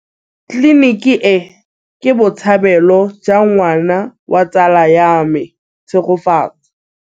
Tleliniki e, ke botsalêlô jwa ngwana wa tsala ya me Tshegofatso.